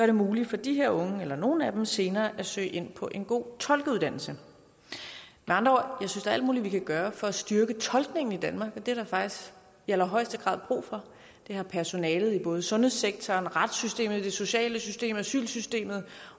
det muligt for de her unge eller nogle af dem senere at søge ind på en god tolkeuddannelse med andre ord synes alt muligt vi kan gøre for at styrke tolkningen i danmark og det er der faktisk i allerhøjeste grad brug for det har personalet i både sundhedssektoren retssystemet det sociale system og asylsystemet